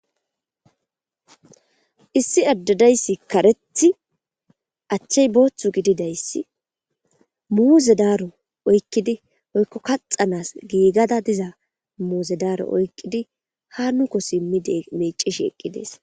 issi addedayssi kareti achchay booththu gididayssi muuze daaro oykkidi oykko kaxanas giigada diza muuze daaro oykkidi ha nuko simmide mecishi eqqidees